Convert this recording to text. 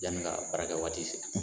Yani ka baarakɛ waati se